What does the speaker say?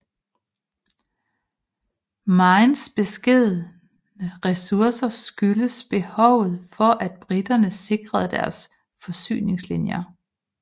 Maynes beskedne ressourcer skyldtes behovet for at briterne sikrede deres forsyningslinjer